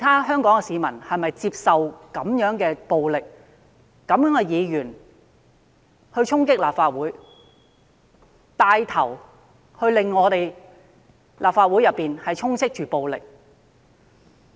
香港市民是否接受這樣的暴力、有這樣的議員默許他人衝擊立法會，或牽頭令立法會內充斥暴力？